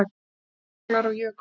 Jöklar og jökulrof